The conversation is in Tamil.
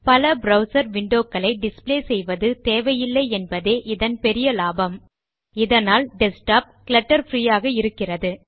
பல ப்ரவ்சர் விண்டோ க்களை டிஸ்ப்ளே செய்வது தேவையில்லை என்பதே இதன் பெரிய லாபம் இதனால் டெஸ்க்டாப் clutter பிரீ ஆக இருக்கிறது